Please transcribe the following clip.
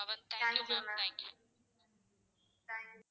Thank you ma'am thank you